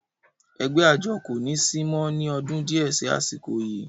ẹgbẹ́ àjọ kò ní sí mọ́ ní ọdún díẹ̀ sí àsìkò yìí